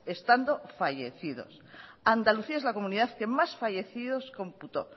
estando fallecidos andalucía es la comunidad que más fallecidos computó